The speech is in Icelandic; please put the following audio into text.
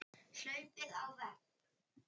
Hlaupið á vegg